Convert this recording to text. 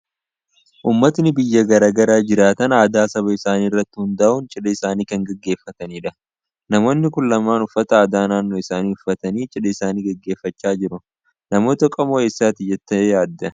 Uummatni biyya gara garaa jiraatan aadaa saba isaanii irratti hundaa'uun cidha isaanii kan gaggeefffatanidha. Namoonni kun lamaan uffata aadaa naannoo isaanii uffatanii cidha isaanii gaggeeffachaa jiru. Namoota qomoo eessaati jettee yaadda?